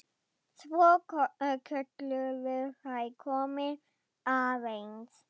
Svo kölluðu þeir: Komiði aðeins!